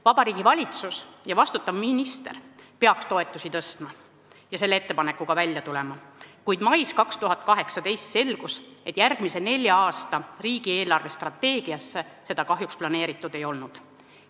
Vabariigi Valitsus ja vastutav minister peaks toetusi tõstma ja selle ettepanekuga välja tulema, kuid mais 2018 selgus, et järgmise nelja aasta riigi eelarvestrateegiasse seda kahjuks planeeritud ei olnud.